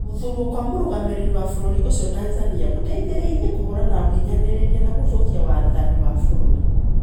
Gũthuurũo kwa mũrũgamĩrĩri wa bũrũri ũcio Tanzania gũteithĩrĩria kũhũrana na ũhinyanĩrĩria na gũthũkia wathani wa bũrũri